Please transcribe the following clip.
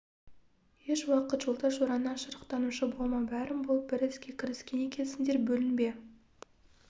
еш уақыт жолдас-жораңнан жырақтанушы болма бәрің болып бір іске кіріскен екенсіңдер бөлінбе